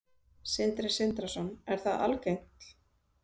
Sindri Sindrason: Er það algengt?